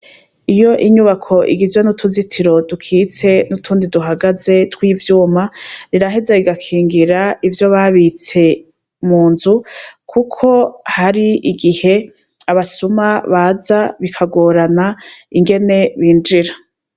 Iyo inyubako igizwe n' utuzitiro dukitse utundi duhagaze tw' ivyuma biraheza bigakingira ivyo babitse munzu kuko hari igihe abasuma baza bikagorana ingene binjira.